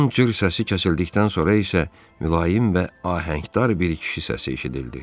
Onun cır səsi kəsildikdən sonra isə mülayim və ahəngdar bir kişi səsi eşidildi.